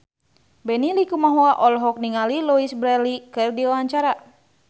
Benny Likumahua olohok ningali Louise Brealey keur diwawancara